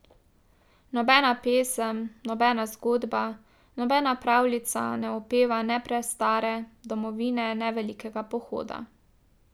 Nobena pesem, nobena zgodba, nobena pravljica ne opeva ne prastare domovine ne velikega pohoda.